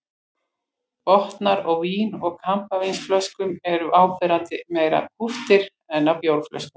Botnar á vín- og kampavínsflöskum eru áberandi meira kúptir en á bjórflöskum.